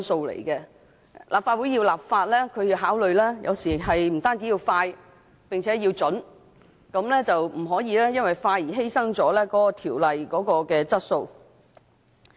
立法會制定法例，有時要考慮的不僅是快，並且要準，不可以為了快速完成審議而犧牲條例的質素。